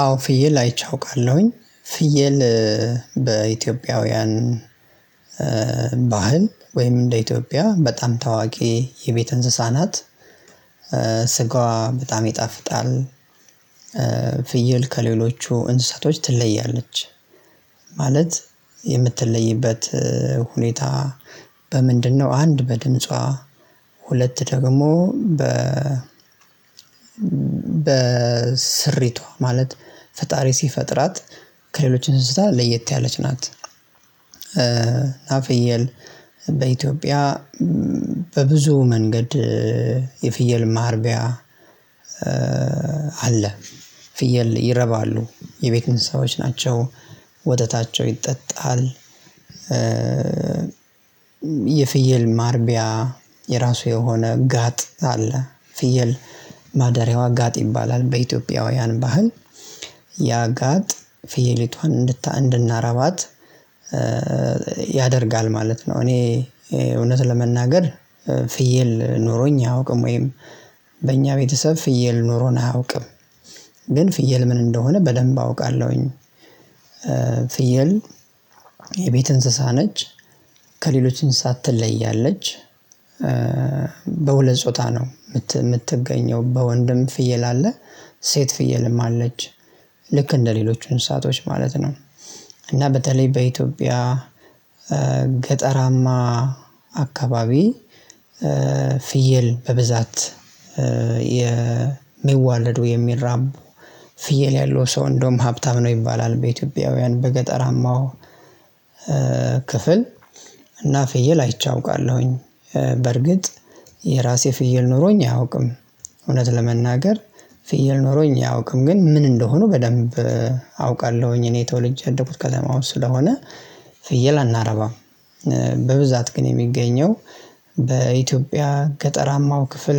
አዎ ፍየል አይቼ አውቃለሁኝ ፍየል በኢትዮጵያውያን ባህል ወይም እንደ ኢትዮጵያ በጣም ታዋቂ የቤት እንስሳ ናት። ስጋዋ በጣም ይጣፍጣል። ፍይል ከሌሎቹ እንስሳቶች ትለያለች። ማለት የምትለይበት ሁኔታ በምንድነው? አንድ በድምጿ ሁለት ደግሞ በ በስሪቷ ማለት ፈጣሪ ሲፈጥራት ከሌሎች እንስሳ ለየት ያለች ናት። ናፍየል በኢትዮጵያ በብዙ መንገድ የፍየል ማርቢያ አለ። ፍየል ይረባሉ የቤት እንሰሳዎች ናቸው ወተታቸው ይጠጣል። የፍየል ማርቢያ የራሱ የሆነ ጋጥ አለ። ፍየል ማደሪያዋ ጋጥ ይባላል በኢትዮጵያውያን ባህል ያጋጥ ፍየሊቷን እንድናረባት ያደርጋል ማለት ነው። እኔ እውነት ለመናገር ፍየል ኖሮኝ አያውቅም ወይም በእኛ ቤተሰብ ፍየል ኖሮን አያውቅም። ግን ፍየል ምን እንደሆነ በደንብ አውቃለሁኝ። ፍየል የቤት እንስሳ ነች። ከሌሎች እንሰሳት ትለያለች። በሁለት ጾታ ነው የምትገኘው በወንድም ፍየል አለ ሴት ፍየልም አለች ልክ እንደሌሎች እንስሳቶች ማለት ነው። እና በተለይ በኢትዮጵያ ገጠራማ አካባቢ ፍየል በብዛት የሚዋለዱ የሚራቡ ፍየል ያለው ሰው እንደውም ሀብታም ነው ይባላል። በኢትዮጵያውያን በገጠራማው ክፍል እና ፍየል አይቼ አውቃለሁኝ። በርግጥ የራሴ ፍየል ኖሮኝ አያውቅም እውነት ለመናገር ፍየል ኖሮኝ አያውቅም። ግን ምን እንደሆኑ በደንብ አውቃለሁኝ እኔ ተወልጄ ያደኩት ከዛ ማለት ስለሆነ ፍየል አናረባም። በብዛት ግን የሚገኘው በኢትዮጵያ ገጠራማው ክፍል